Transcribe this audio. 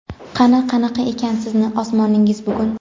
Qani qanaqa ekan sizni osmoningiz bugun.